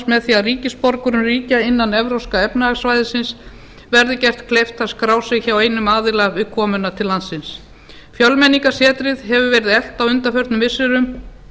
með því að ríkisborgurum ríkja innan evrópska efnahagssvæðisins verði gert kleift að skrá sig hjá einum aðila við komuna til landsins fjölmenningarsetrið hefur verið eflt á undanförnum missirum